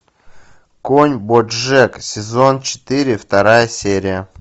конь боджек сезон четыре вторая серия